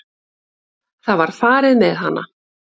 Það var farið með hana.